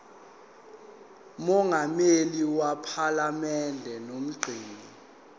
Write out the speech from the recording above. mongameli wephalamende nomgcini